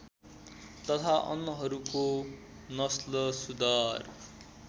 तथा अन्नहरूको नस्लसुधार